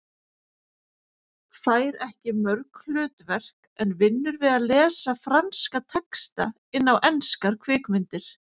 Fær ekki mörg hlutverk en vinnur við að lesa franska texta inn á enskar kvikmyndir.